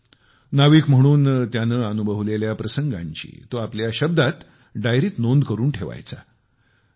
मालम याने खलाशी म्हणून त्याने अनुभवलेल्या प्रसंगांची आपल्या शब्दात डायरीत नोंद करून ठेवली आहे